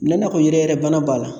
Mun na n'a ko yɛrɛyɛrɛbana b'a la